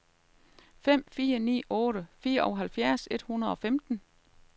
fem fire ni otte fireoghalvfjerds et hundrede og femten